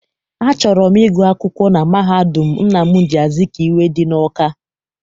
Achọrọ m ịgụ akwụkwọ na mahadum Nnamdi Azikiwe dị n'Awka.